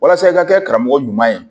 Walasa i ka kɛ karamɔgɔ ɲuman ye